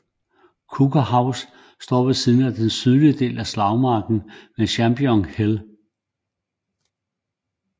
Coker House står ved siden af en sydlig del af slagmarken ved Champion Hill